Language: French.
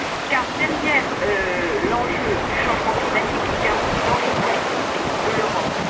Car au delà l'enjeu du changement climatique, il y a aussi l'enjeu politique de l'Europe.